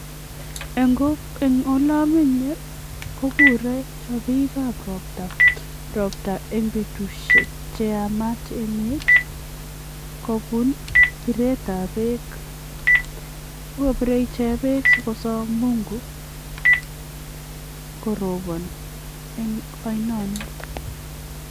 Eng olomenye kokure chopikab ropta ropta eng betusiek cheyamat emet kobun piretab beek. Bokopiire ichek beek sikosom Mungu koropon eng oinonit.